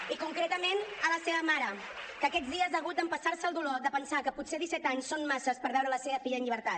i concretament a la seva mare que aquests dies ha hagut d’empassar se el dolor de pensar que potser disset anys són massa per veure la seva filla en llibertat